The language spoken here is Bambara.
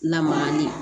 Lamagali